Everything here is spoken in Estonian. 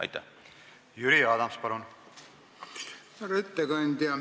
Härra ettekandja!